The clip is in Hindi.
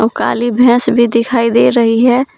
औ काली भैंस भी दिखाई दे रही है।